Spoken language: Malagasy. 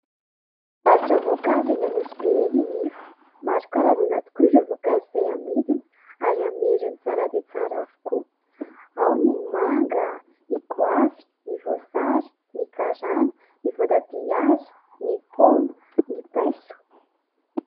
Mpivarotra voankazo eny Anosibe eny i Nivo. Maro karazana tokoa ireo voankazo izay amidiny ary amin'ny endriny tsara dia tsara avokoa. Ao ny manga, ny goavy, ny voasary, ny garana, ny voatabia hazo, ny paoma, ny paiso.